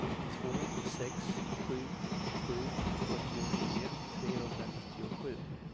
två sex sju sju fyrtionio trehundranittiosju